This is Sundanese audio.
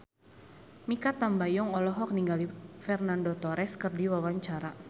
Mikha Tambayong olohok ningali Fernando Torres keur diwawancara